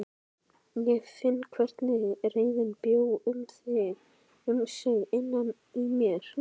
Ég fann hvernig reiðin bjó um sig innan í mér.